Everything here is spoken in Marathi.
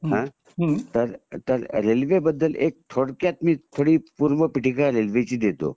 हां तर रेल्वे बद्दल थोडक्यात मी थोडी रेल्वे बद्दल ची पूर्वापीटिका रेल्वेची देतो